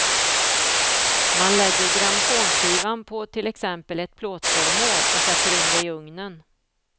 Man lägger grammofonskivan på till exempel ett plåtföremål och sätter in det i ugnen.